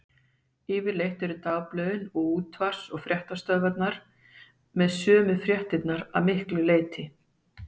Yfirleitt eru dagblöðin, og útvarps- og sjónvarpsstöðvarnar með sömu fréttirnar að miklu leyti.